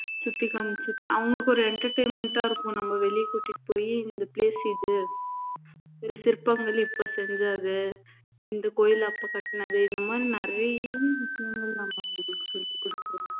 சுத்தி காமிச்சுட்டு அவங்களுக்கு ஒரு entertainment ஆ இருக்கும் நம்ம வெளியே கூட்டிட்டு போயி இந்த place இது ஒரு சிற்பங்கள் இப்ப செஞ்சது இந்த கோயில் அப்ப கட்டுனது இந்த மாதிரி நிறைய விஷயங்கள் நம்ம அவங்களுக்கு சொல்லிக் கொடுக்கலாம்